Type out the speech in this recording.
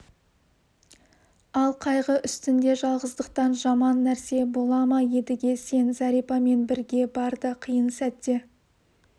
ал қайғы үстінде жалғыздықтан жаман нәрсе бола ма едіге сен зәрипамен бірге бар да қиын сәтте